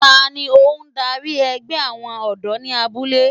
Tani ohun darí ẹgbẹ́ àwọn ọ̀dọ́ ní abúlé?